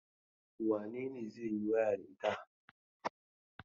Wane ne zai yi waya da ita?